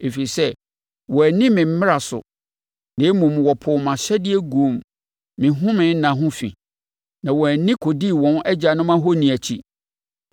ɛfiri sɛ, wɔanni me mmara so, na mmom wɔpoo mʼahyɛdeɛ guu me home nna ho fi, na wɔn ani kɔdii wɔn agyanom ahoni akyi.